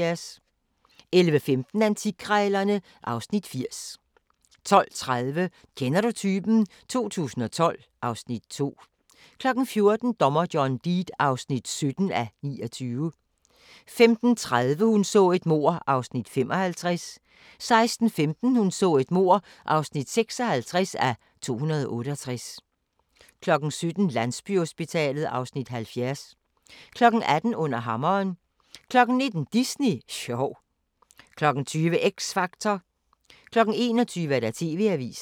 11:15: Antikkrejlerne (Afs. 80) 12:30: Kender du typen? 2012 (Afs. 2) 14:00: Dommer John Deed (17:29) 15:30: Hun så et mord (55:268) 16:15: Hun så et mord (56:268) 17:00: Landsbyhospitalet (Afs. 70) 18:00: Under hammeren 19:00: Disney sjov 20:00: X Factor 21:00: TV-avisen